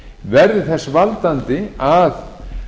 verði þess valdandi að